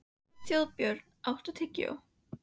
Þjóðbjörn, áttu tyggjó?